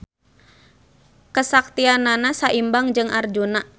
Kesaktianana saimbang jeung Arjuna.